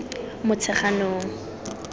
motsheganong